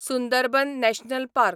Sundarban national park